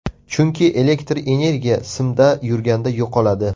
Chunki elektr energiya simda yurganda yo‘qoladi.